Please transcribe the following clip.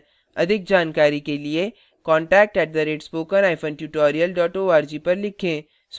अधिक जानकारी के लिए contact @spokentutorial org पर लिखें